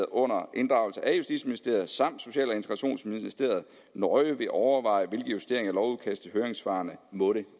under inddragelse af justitsministeriet samt social og integrationsministeriet nøje vil overveje hvilke justeringer af lovudkastet høringssvarene måtte